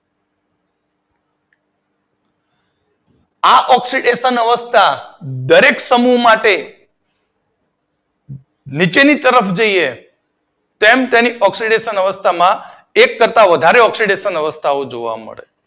આ ઓક્સીડેશન અવસ્થા દરેક સમૂહ માટે નીચેની તરફ જઈએ તેમ તેની ઓક્સીડેશન અવસ્થા માં એક કરતાં વધારે ઓક્સીડેશન અવસ્થા જોવા મળે